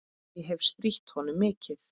Ég hefi strítt honum mikið.